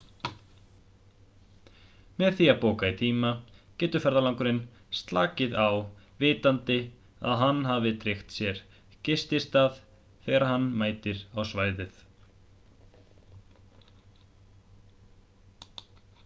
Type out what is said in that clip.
með því að bóka í tíma getur ferðalangurinn slakað á vitandi það að hann hafi tryggt sér gististað þegar hann mætir á svæðið